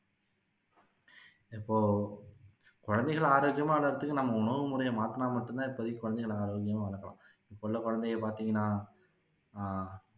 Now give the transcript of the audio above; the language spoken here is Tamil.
இப்போ குழந்தைங்களை ஆரோக்கியமா வளர்றதுக்கு நம்ம உணவு முறையை மாத்துனா மட்டும் தான் இப்போதைக்கு குழந்தைங்களை ஆரோக்கியமா வளர்க்கலாம் இப்போ உள்ல குழந்தைய பாத்தீங்கன்னா ஆஹ்